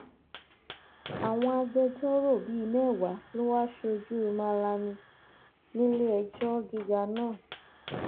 àwọn agbẹjọrò bíi mẹwàá ló wáá ṣojú malami níléẹjọ gíga náà